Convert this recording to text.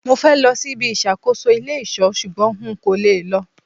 Mo fẹ́ lọ sí ibi ìṣàkóso ilé ìṣọ́ ṣugbọn n kò lè lọ